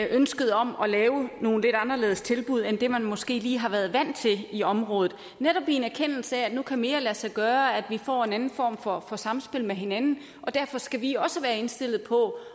ønsket om at lave nogle lidt anderledes tilbud end dem de måske lige har været vant til i området netop i en erkendelse af at nu kan mere lade sig gøre og at vi får en anden form for samspil med hinanden og derfor skal vi også være indstillet på